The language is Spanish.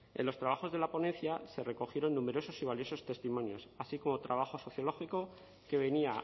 en los trabajos de la ponencia se recogieron numerosos y valiosos testimonios así como trabajo sociológico que venía